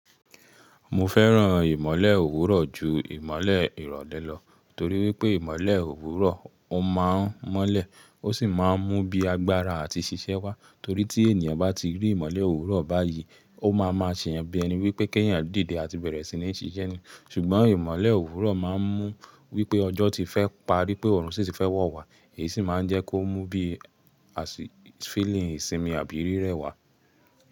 Mo fẹ́ràn ìmọ̀le òwúrọ̀ ju ìmọ̀le ìrọ̀lẹ́ lọ, torí wípé ìmọ̀le òwúrọ̀ ó máa ń mọ́lẹ̀ ó sì máa ń mú bíi agbára àti ṣiṣẹ́ wá. Torí tí ènìyàn bá ti rí ìmọ̀le òwúrọ̀ báyìí, ó máa ma ṣe ẹni bí i ẹni wípé kí ènìyàn dìde àti bẹ̀rẹ̀ sí ní ṣiṣẹ́ ni. Ṣùgbọ́n ìmọ̀le òwúrọ̀ máa ń mú wípé ọjọ́ ti fẹ́ parí pé oọ̀run sì ti fẹ́ wọ̀ wá, èyí sì máa ń jẹ́ kó mú bíi feeling ìsinmi àbí rírẹ wá.